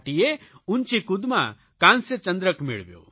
ભાટીએ ઊંચીકૂદમાં કાંસ્ય ચંદ્રક મેળવ્યો